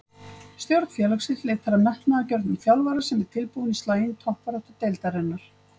Stjórn félagsins leitar að metnaðargjörnum þjálfara sem er tilbúinn í slaginn í toppbaráttu deildarinnar.